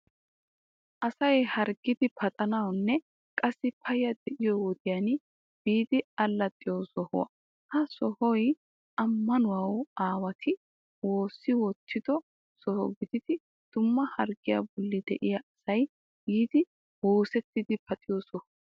Asay harggidi paxanawunne qassi payya de'iyo wodiyan biidi allaxxiyo sohuwa. Ha sohoyi ammanuwa aawati woossi wottido soho gididi dumma harggiya bolli de'iya asay yiidi woosettidi paxiyo soho.